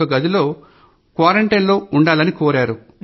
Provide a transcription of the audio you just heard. వారిని ఇంట్లో తమకుతాముగా క్వారంటైన్ లో ఉండాలని కోరారు